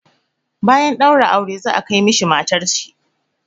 Bayan ɗaura aure za a kai mishi matar shi.